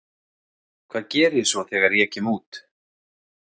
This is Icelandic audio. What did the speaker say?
Hvað geri ég svo þegar ég kem út?